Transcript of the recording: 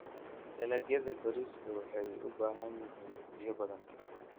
Dalagyada bariiska waxay u baahan yihiin biyo badan.